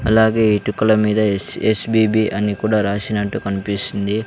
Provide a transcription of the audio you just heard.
అలాగే ఇటుకుల మీదా ఎస్_ఎస్_బి_బి అని రాసినట్టు కుడా కన్పిస్తుంది.